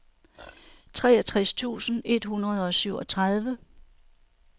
treogtres tusind et hundrede og syvogtredive